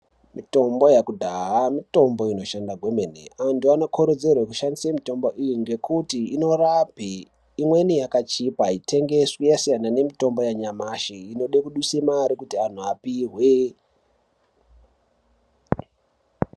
Mitombo yakudhaha mitombo inoshanda kwemene antu anokurudzirwe kushandise mitombo iyi ngekuti inorapa imweni yakachipa aitengeswi yasiyana nemitombo yanyamashi inode kuduse mare kuti anhu apihwe.